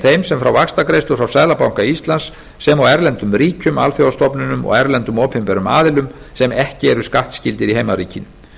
þeim sem fá vaxtagreiðslur frá seðlabanka íslands sem og erlendum ríkjum alþjóðastofnunum og erlendum opinberum aðilum sem ekki eru skattskyldir í heimaríkinu